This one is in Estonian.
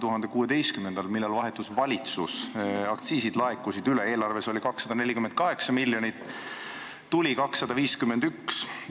Aastal 2016, kui valitsus vahetus, aktsiisid laekusid üle: eelarve seaduses oli 248 miljonit, tuli 251.